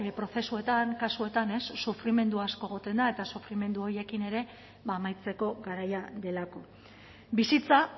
prozesuetan kasuetan sufrimendu asko egoten da eta sufrimendu horiekin ere amaitzeko garaia delako bizitza